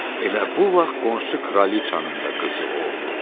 Elə bu vaxt qonşu kraliçanın da qızı oldu.